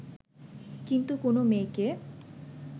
কিন্তু কোনও মেয়েকে